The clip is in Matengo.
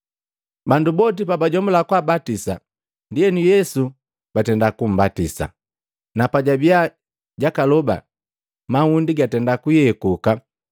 Bandu boti pajajomula kwaabatisa, ndienu Yesu batenda kumbatisa, na pajabiya jakaloba, mahundi gatenda kuyekuka,